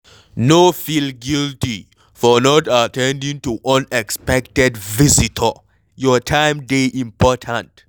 No feel guilty for not at ten ding to unexpected visitor, your time dey important